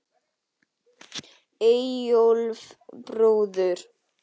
Eyjólf bróður.